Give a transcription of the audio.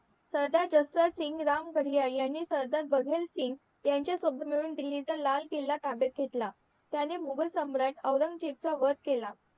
सरदार रामभए अय्यर नी सरदार भदेल सिंग ह्याच्या सोबत मिळून दिल्लीचा लाल किल्ला ताब्यात घेतला त्यांनी मुघल सम्राट औरंगजेबचा वध केला